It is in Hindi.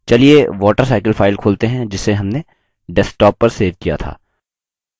चलिए watercycle file खोलते हैं जिसे हमने desktop पर सेव किया था